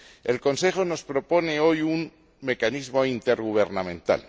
El Consejo nos propone hoy un mecanismo intergubernamental.